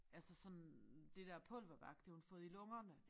Altså sådan det der pulverværk det har hun fået i lungerne